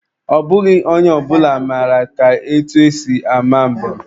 Ọ bụghị onye ọ bụla mara ka etu esi ama mbem.